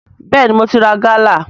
Bẹ́ẹ̀ni, mo ti ra gálà